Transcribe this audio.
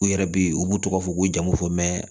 U yɛrɛ be yen u b'u tɔgɔ fɔ ko jamu fɔ mɛ